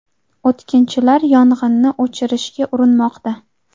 O‘tkinchilar yong‘inni o‘chirishga urinmoqda.